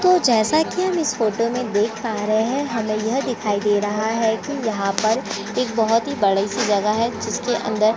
तो जैसा की हम इस फोटो में देख पा रहे है हमे यह दिखाई दे रहा है की यहाँ पर एक बड़ा सा जगह है जहाँ पर--